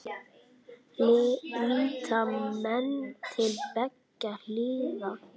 Líta menn til beggja hliða?